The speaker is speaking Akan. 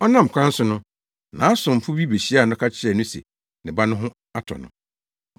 Ɔnam kwan so no, nʼasomfo bi behyiaa no ka kyerɛɛ no se ne ba no ho atɔ no.